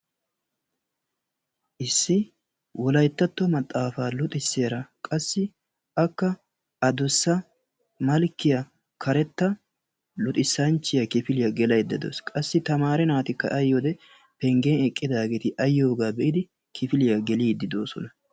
issi wollayttatto maxaafaa luxxisiyaara qassi akka adussa malkiyaa karetta luxisanchiyaa kifiliyaa gelaydda dawus. qassi tamare naatikka penggen eqqidaagee a yiyoogaa be'idi kifiliyaa geelidi doosona.